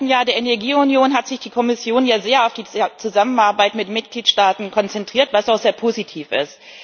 Im ersten Jahr der Energieunion hat sich die Kommission ja sehr auf die Zusammenarbeit mit Mitgliedstaaten konzentriert, was auch sehr positiv ist.